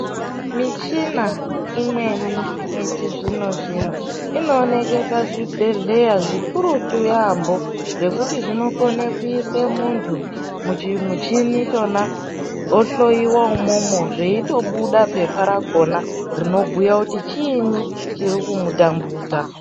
Michina imweni yechizvino zvino inooneka pazvibhedhlera zvikurutu yambo nekuti zvinokona kuisa muntu muchi muchini makona mohloiwa zveitobuda rinobhuya kuti chinyi chiri kumutambudza.